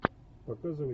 показывай